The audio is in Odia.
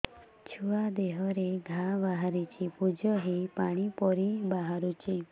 ଛୁଆ ଦେହରେ ଘା ବାହାରିଛି ପୁଜ ହେଇ ପାଣି ପରି ବାହାରୁଚି